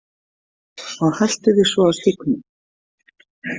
Og haltu þig svo á stígnum.